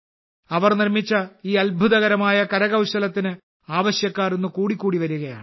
അവർ നിർമ്മിച്ച ഈ അത്ഭുതകരമായ കരകൌശലത്തിന് ആവശ്യക്കാർ കൂടിക്കൂടി വരികയാണ്